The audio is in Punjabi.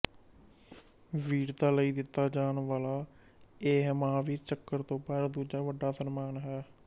ਵੀਰਤਾ ਲਈ ਦਿਤਾ ਜਾਣ ਵਾਲਾ ਇਹ ਮਹਾਵੀਰ ਚੱਕਰ ਤੋਂ ਬਾਅਦ ਦੂਜਾ ਵੱਡਾ ਸਨਮਾਨ ਹੈ